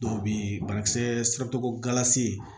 Dɔw bɛ yen banakisɛ siratugula se